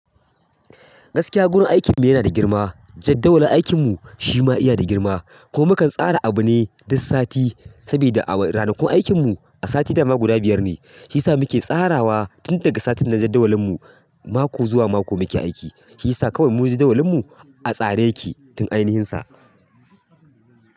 Gaskiya gurin aikin mu yana da girma, jadawalin aikin mu shi ma yana da girma. Kuma kan tsara abu ne duk sati saboda ranakun aikin mu a sati dama guda biyar ne. Shi yasa muke tsarawa tun daga satin na jadawalin mu, mako zuwa mako muke aiki. Shi yasa kawai mu jadawalin mu a tsare yake tun ainihinsa.